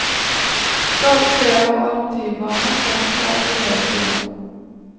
Stadig flere av adoptivbarna kommer fra europeiske land.